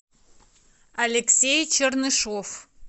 алексей чернышев